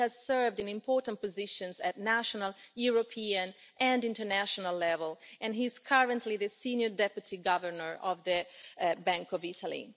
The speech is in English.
He has served in important positions at national, European and international level, and he is currently the senior Deputy Governor of the Bank of Italy.